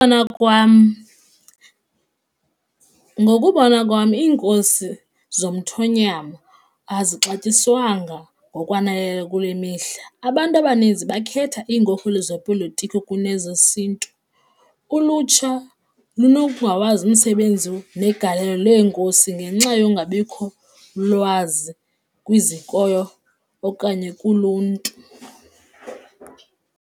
Ukubona kwam, ngokubona kwam iinkosi zomthonyama azixatyiswanga ngokwaneleyo kule mihla. Abantu abaninzi bakhetha iinkokheli zopolitiko kunezesiNtu, ulutsha lunokungawazi umsebenzi negalelo leenkosi ngenxa yokungabikho lwazi kwizikolo okanye kuluntu.